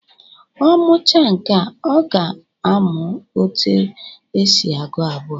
Ọ muchaa nkea, ọ ga-amụ etu esi agụ abụọ